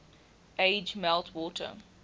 age melt water